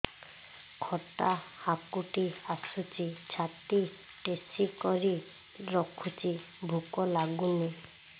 ଖଟା ହାକୁଟି ଆସୁଛି ଛାତି ଠେସିକରି ରଖୁଛି ଭୁକ ଲାଗୁନି